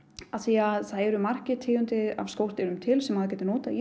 af því það eru margar tegundir af skordýrum til sem maður getur notað í